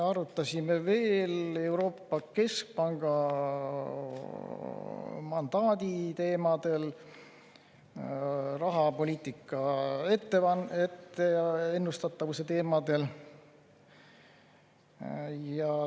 Arutlesime veel Euroopa Keskpanga mandaadi teemadel ja rahapoliitika ennustatavuse teemadel.